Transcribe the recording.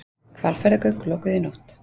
Hvalfjarðargöng lokuð í nótt